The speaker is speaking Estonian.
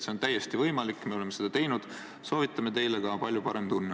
See on täiesti võimalik, me oleme seda teinud, soovitame teile ka, palju parem tunne.